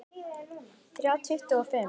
Þrjá tuttugu og fimm